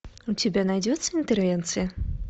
у тебя найдется интервенция